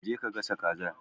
Je ka ka gasha Kazar.